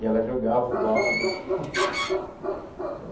E ela jogava o balde, assim.